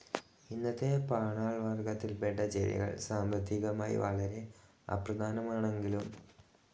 ഇന്നത്തെ പാണാൾ വർഗത്തിൽപെട്ട ചെടികൾ സാമ്പത്തികമായി വളരെ അപ്രധാനങ്ങളാണെങ്കിലും പാലിയോസിക് കൽപത്തിലെ കാർബോണിഫോറസ് യുഗത്തിൽ ജീവിച്ചിരുന്നവ വളരെ പ്രാധാന്യം അർഹിക്കുന്നുണ്ട്.